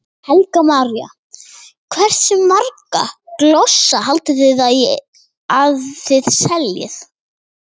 Helga María: Hversu marga glossa haldið þið að þið seljið?